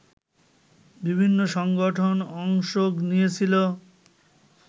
বিভিন্ন সংগঠন অংশ নিয়েছিল